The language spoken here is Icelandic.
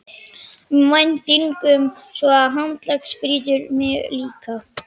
um væntingum og svo handleggsbrýturðu mig líka.